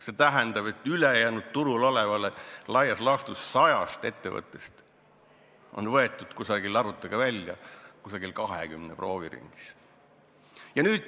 See tähendab, et ülejäänud turul olevast laias laastus 100-st ettevõttest on võetud – arvutage välja – 20 proovi ringis?